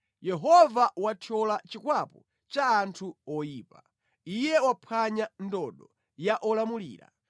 Yehova wathyola chikwapu cha anthu oyipa, Iye waphwanya ndodo ya olamulira.